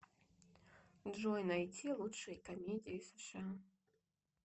джой найти лучшие комедии сша